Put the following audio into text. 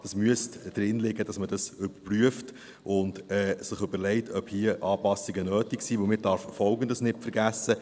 Es müsste drinliegen, dass man dies überprüft und sich überlegt, ob hier Anpassungen nötig sind, denn man darf Folgendes nicht vergessen: